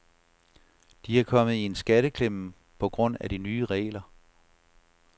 De er kommet i en skatteklemme på grund af de nye regler.